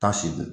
Tan seegin